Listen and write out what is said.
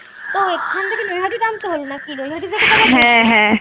ও এখান থেকে নইহাটি নামতে হবে নাকি নইহাটি